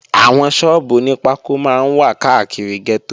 Àwọn sọ́ọ́bù oní pákó máa ń wà káàkiri gẹ́tò